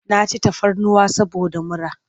Na ci tafarnuwa saboda mura.